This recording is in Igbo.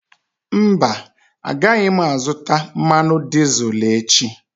Mba, agaghị m azụta mmanụ dizel echi.